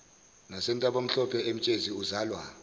nasentabamhlophe emtshezi uzalwa